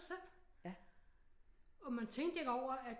Selv og man tænkte ikke over at